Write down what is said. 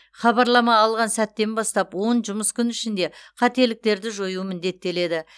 хабарлама алған сәттен бастап он жұмыс күн ішінде қателіктерді жою міндеттеледі